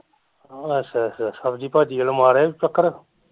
ਅੱਛਾ ਅੱਛਾ ਸਬਜ਼ੀ ਭਾਜੀ ਵੱਲ ਮਾਰਿਆ ਈ ਚੱਕਰ